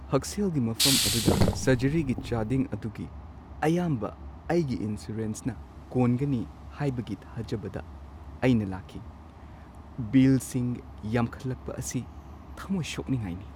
ꯍꯛꯁꯦꯜꯒꯤ ꯃꯐꯝ ꯑꯗꯨꯗ ꯁꯔꯖꯔꯤꯒꯤ ꯆꯥꯗꯤꯡ ꯑꯗꯨꯒꯤ ꯑꯌꯥꯝꯕ ꯑꯩꯒꯤ ꯏꯟꯁꯨꯔꯦꯟꯁꯅ ꯀꯣꯟꯒꯅꯤ ꯍꯥꯏꯕꯒꯤ ꯊꯥꯖꯕꯗ ꯑꯩꯅ ꯂꯩꯈꯤ꯫ ꯕꯤꯜꯁꯤꯡ ꯌꯥꯝꯈꯠꯂꯛꯄ ꯑꯁꯤ ꯊꯃꯣꯢ ꯁꯣꯛꯅꯤꯡꯉꯥꯢꯅꯤ꯫